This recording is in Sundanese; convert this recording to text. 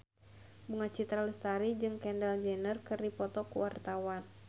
Bunga Citra Lestari jeung Kendall Jenner keur dipoto ku wartawan